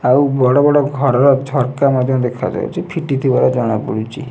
ଆଉ ବଡ ବଡ ଘରର ଝରକା ମଧ୍ଯ ଦେଖାଯାଉଛି। ଫିଟିଥିବାର ଦେଖାଯାଉଛି।